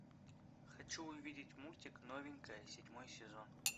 хочу увидеть мультик новенькая седьмой сезон